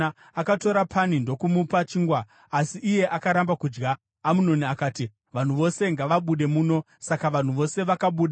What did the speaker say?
Akatora pani ndokumupa chingwa, asi iye akaramba kudya. Amunoni akati, “Vanhu vose ngavabude muno.” Saka vanhu vose vakabuda.